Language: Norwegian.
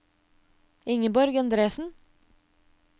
Ingeborg Endresen